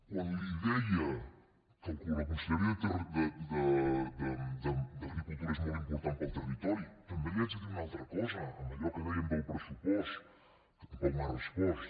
quan li deia que la conselleria d’agricultura és molt important per al territori també li haig de dir una altra cosa en allò que dèiem del pressupost que tampoc m’ha respost